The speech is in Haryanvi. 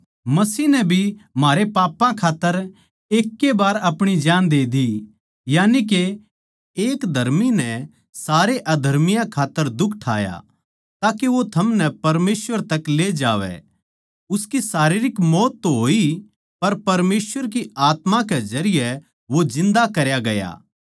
मसीह नै भी म्हारे पापां खात्तर एकै ए बार अपणी जान दे दी यानी के एक धर्मी नै सारे अधर्मियाँ खात्तर दुख ठाया ताके वो थमनै परमेसवर तक ले जावै उसकी शारीरिक मौत तो होई पर परमेसवर की आत्मा के जरिये वो जिन्दा करया गया